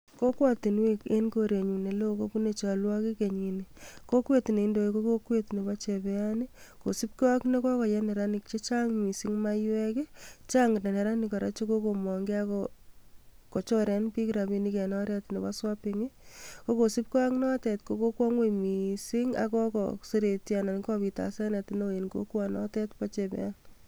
Kokwetinwek eng korenyu ne lo kopunu cholwokik kenyini. Kokwet ne indoi ko kokwet nebo chebean kosubgei ak ne kokoye neranik che chang missing maiywek chang neranik kora chekokomongei kochore bik rabiinik eng oretab nebo swapping ii ako sibgei ak notet ko kokwong ngwong missing ak kokoseretio ak kokobit asenet neo eng kokwo notet bo chebean.